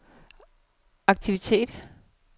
aktivitet